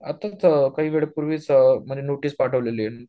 आताच काही वेळपूर्वीच म्हणजे नोटीस पाठवलेली आहे